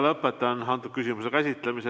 Lõpetan selle küsimuse käsitlemise.